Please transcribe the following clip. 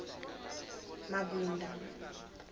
mabunda